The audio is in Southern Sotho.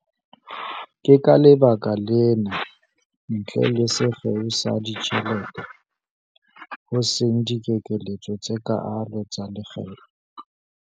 Ke ka lebaka lena, ntle le sekgeo sa ditjhelete, ho seng dikeketso tse kaalo tsa lekgetho.